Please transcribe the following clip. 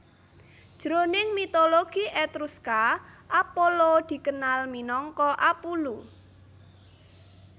Jroning mitologi Etruska Apollo dikenal minangka Apullu